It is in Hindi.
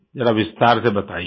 जरा विस्तार से बताइये